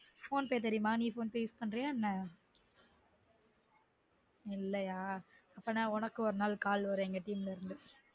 phone pay தெரியுமா நீ phone pay use பண்றீயா என்ன இல்லயா அப்டினா உனக்கு ஒரு நாள் call வரும் எங்க team ல இருந்து